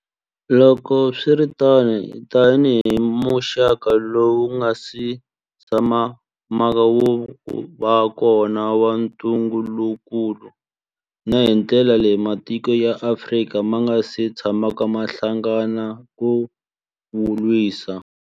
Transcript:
Loko swi ri tano, tanihi muxaka lowu wu nga si tshamaka wu va kona wa ntungukulu, na hi ndlela leyi matiko ya Afrika ma nga si tshamaka ma hlangana ku wu lwisa.